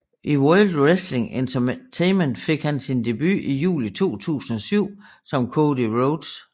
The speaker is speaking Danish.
I World Wrestling Entertainment fik han sin debut i juli 2007 som Cody Rhodes